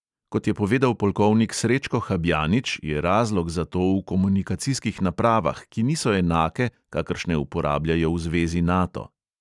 Kot je povedal polkovnik srečko habjanič, je razlog za to v komunikacijskih napravah, ki niso enake, kakršne uporabljajo v zvezi nato.